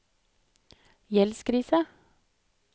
gjeldskrise